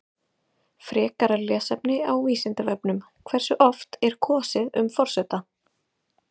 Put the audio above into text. Frekara lesefni á Vísindavefnum: Hversu oft er kosið um forseta?